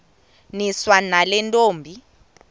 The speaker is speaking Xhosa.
niswa nale ntombi